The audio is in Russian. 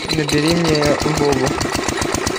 набери мне вову